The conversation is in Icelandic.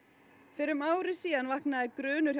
fyrir um ári vaknaði grunur